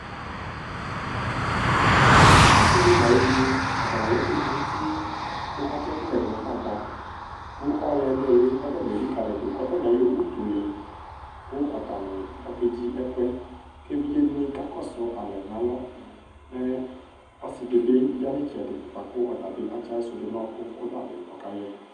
ase di no ayi evi ni atani ala ɛko do n'utu ko akye ɛkoyɛ do no gagba ko ɔlɛ no ili k'atani elikali yi do k'atani ayɔ utu le ko atani akedzi ɛkoɛ ko evidze dini ka kɔsu alɛ n'alɔ mɛ ɔse di bi ya n'itsɛdi boa ko ɔtabi atsi ayiso do no ɔko ko ɔtabi ɔka yɛ